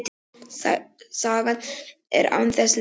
Sagan er á þessa leið: